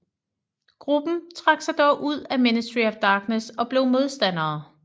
Gruppen trak sig dog ud af Ministry of Darkness og blev modstandere